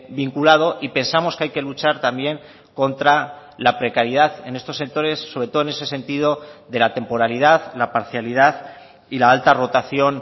vinculado y pensamos que hay que luchar también contra la precariedad en estos sectores sobre todo en ese sentido de la temporalidad la parcialidad y la alta rotación